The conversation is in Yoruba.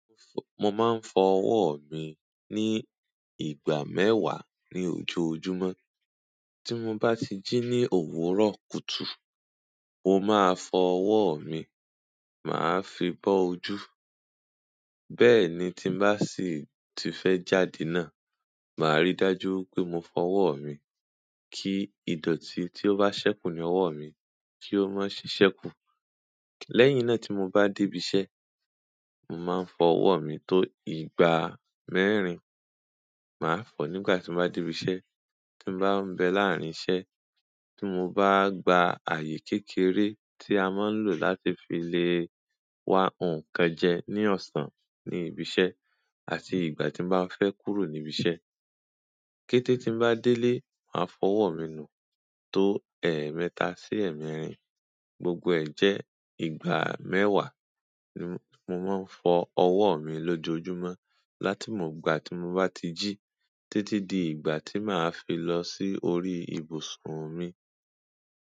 Mo máa ń fọ ọwọ́ mi ní ìgbà mẹ́wàá ní ojoojúmọ́. Tí mo bá ti ji ní òwúrọ̀ kùtù, mo máa fọ ọwọ́ mi, màá fi bó ojú. Bẹ́ẹ̀ni tí n bá sì ti fẹ́ jáde náà, màá ríi dájú pé mo fọ ọwọ́ mi kí ìdọ̀tí tí ó bá ṣẹ́kù ní ọwọ́ mi kí ó má sì ṣẹ́kù. Lẹ́yìn náà tí mo bá dé ibi iṣẹ́, màá fọ ọwọ̀ mi tó ìgbà mẹ́rin. Màá fọ nígbà tí n bá dé ibi iṣẹ́, tí n bá ń bẹ láàárín iṣẹ́, tí mo bá gba ààyè kékeré tí a máa ń lò láti fi lè wa nǹkan jẹ ní ọ̀sán ní ibi iṣẹ́ àti ìgbà tí n bá fẹ́ kúrò ní ibi iṣẹ́. Kétẹ́ tí n bá délé máa fọ ọwọ́ mi nù tó ẹẹ́mẹ́ta sí ẹẹ́mẹ́rin. Gbogbo ẹ jẹ́ ìgbà mẹ́wàá mo maa n fowo mi loojojumi láti ìgbà ti mo baa ti ji títí di ìgbà tí màá fi lọ sí orí ibùsùn mi.